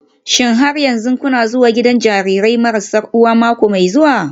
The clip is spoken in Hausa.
Shin har yanzu kuna zuwa gidan jarirai marasa uwa mako mai zuwa?